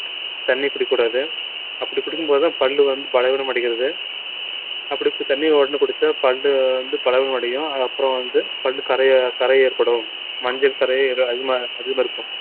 தண்ணி குடிக்கக் கூடாது அப்படிக் குடிக்கும்போதுதான் பல்லு வந்து பலவீனம் அடைகிறது அப்படி தண்ணியை உடனே குடிச்சா பல்லு வந்து பலவீனம் அடையும் அப்புறம் வந்து பல்லு கரைய கரை ஏற்படும் மஞ்சள் கறை அதிகமா அதிகமா இருக்கும்